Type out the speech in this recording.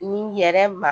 Ni yɛrɛ ma